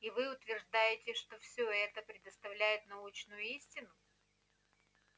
и вы утверждаете что всё это предоставляет научную истину